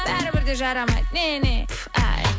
бәрібір де жарамайды не не пф ай